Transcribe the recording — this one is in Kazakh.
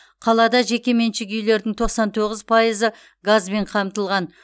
қалада жекеменшік үйлердің тоқсан тоғыз пайызы газбен қамтылған